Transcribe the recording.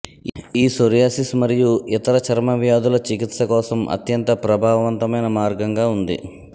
ఈ సోరియాసిస్ మరియు ఇతర చర్మ వ్యాధుల చికిత్స కోసం అత్యంత ప్రభావవంతమైన మార్గంగా ఉంది